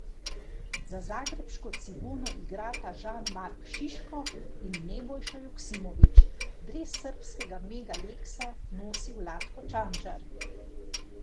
Za zagrebško Cibono igrata Žan Mark Šiško in Nebojša Joksimović, dres srbskega Mega Leksa nosi Vlatko Čančar.